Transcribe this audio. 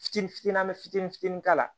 Fitini fitini fitini fitini k'a la